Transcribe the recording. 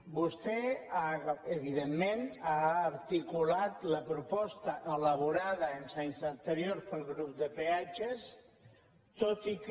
vostè evidentment ha articulat la proposta elaborada els anys anteriors pel grup de peatges tot i que